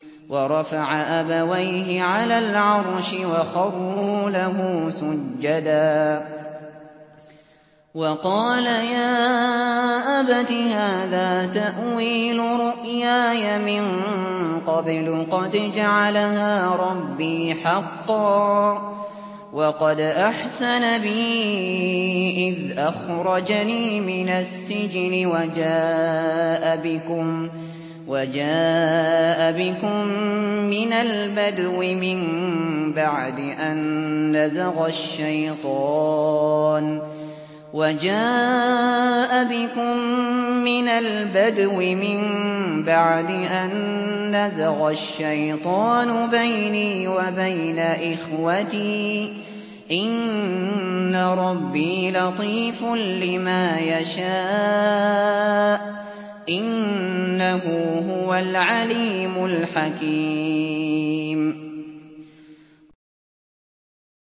وَرَفَعَ أَبَوَيْهِ عَلَى الْعَرْشِ وَخَرُّوا لَهُ سُجَّدًا ۖ وَقَالَ يَا أَبَتِ هَٰذَا تَأْوِيلُ رُؤْيَايَ مِن قَبْلُ قَدْ جَعَلَهَا رَبِّي حَقًّا ۖ وَقَدْ أَحْسَنَ بِي إِذْ أَخْرَجَنِي مِنَ السِّجْنِ وَجَاءَ بِكُم مِّنَ الْبَدْوِ مِن بَعْدِ أَن نَّزَغَ الشَّيْطَانُ بَيْنِي وَبَيْنَ إِخْوَتِي ۚ إِنَّ رَبِّي لَطِيفٌ لِّمَا يَشَاءُ ۚ إِنَّهُ هُوَ الْعَلِيمُ الْحَكِيمُ